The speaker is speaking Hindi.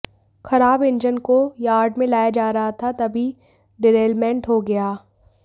खराब इंजन को यार्ड में लाया जा रहा था तभी डिरेलमेंट हो गया